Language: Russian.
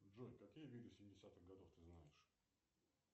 джой какие виды семидесятых годов ты знаешь